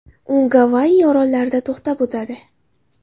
U Gavayi orollarida to‘xtab o‘tadi.